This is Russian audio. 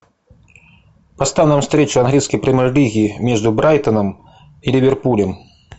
поставь нам встречу английской премьер лиги между брайтоном и ливерпулем